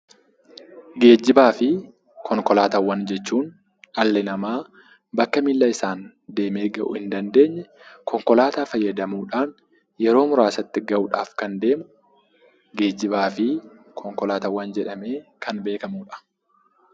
Geejiba fi konkolaataawwan jechuun dhalli namaa bakka miilaan deemee gahuu hin dandeenye konkolaataa fayyadamuudhaan yeroo muraasatti gahuudhaaf kan deemu geejibaa fi konkolaataawwan jedhamee kan beekamuudha.